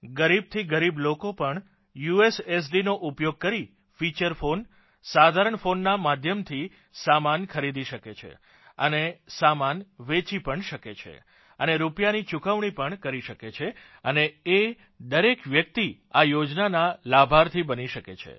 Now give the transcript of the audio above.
ગરીબથી ગરીબ લોકો પણ યુએસએસડી નો ઉપયોગ કરી ફીચર ફોન સાધારણ ફોનના માધ્યમથી સામાન ખરીદી પણ શકે છે અને સામાન વેચી પણ શકે છે અને રૂપીયાની ચુકવણી પણ કરી શકે છે અને એ દરેક વ્યક્તિ આ યોજનાના લાભાર્થી બની શકે છે